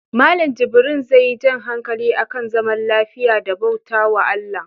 Mallan jibrin zai yi jan hankali akan zaman lafiya da bautawa ALLAH